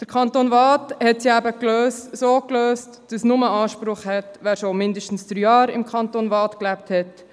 Der Kanton Waadt hat es eben so gelöst, dass nur Anspruch hat, wer während mindestens drei Jahren im Kanton Waadt gelebt hat.